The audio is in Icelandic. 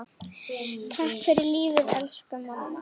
Takk fyrir lífið, elsku mamma.